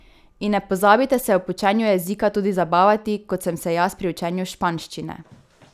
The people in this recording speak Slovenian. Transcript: In ne pozabite se ob učenju jezika tudi zabavati, kot sem se jaz pri učenju španščine!